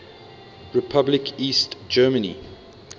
republic east germany